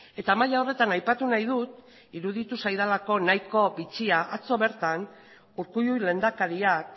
eta maila horretan aipatu nahi dut iruditu zaidalako nahiko bitxia atzo bertan urkullu lehendakariak